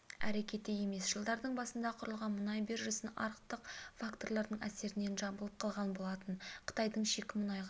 әрекеті емес жылдардың басында құрылған мұнай биржасын арықтық факторлардың әсерінен жабылып қалған болатын қытайдың шикі мұнайға